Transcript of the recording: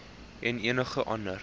en enige ander